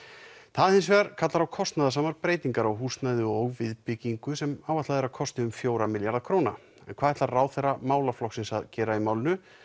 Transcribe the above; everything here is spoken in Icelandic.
það hins vegar kallar á kostnaðarsamar breytingar á húsnæði og viðbyggingu sem áætlað er að kosti um fjóra milljarða króna en hvað ætlar ráðherra málaflokksins að gera í málinu